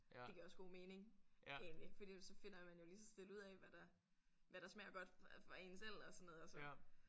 Det giver også god mening egentlig fordi jo så finder man jo lige så stille ud af hvad der hvad der smager godt for en selv og sådan noget og så